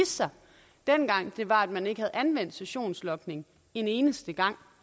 sig dengang var at man ikke havde anvendt sessionslogning én eneste gang